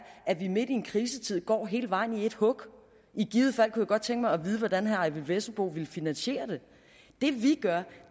at vi midt i en krisetid går hele vejen i et hug i givet fald kunne jeg godt tænke mig at vide hvordan herre eyvind vesselbo ville finansiere det det vi gør